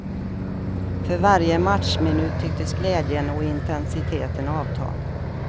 För varje matchminut tycktes glädjen och intensiteten avta.